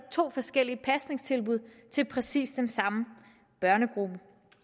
to forskellige pasningstilbud til præcis den samme børnegruppe